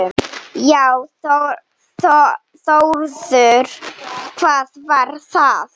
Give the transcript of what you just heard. Já Þórður, hvað var það?